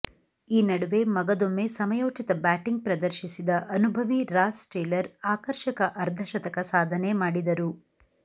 ಈ ನಡುವೆ ಮಗದೊಮ್ಮೆ ಸಮಯೋಚಿತ ಬ್ಯಾಟಿಂಗ್ ಪ್ರದರ್ಶಿಸಿದ ಅನುಭವಿ ರಾಸ್ ಟೇಲರ್ ಆಕರ್ಷಕ ಅರ್ಧಶತಕ ಸಾಧನೆ ಮಾಡಿದರು